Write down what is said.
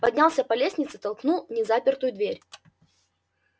поднялся по лестнице толкнул незапертую дверь